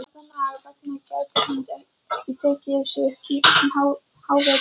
Barnanna vegna gæti hann ekki tekið sig upp um hávetur.